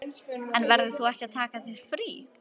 En verður þú ekki að taka þér frí?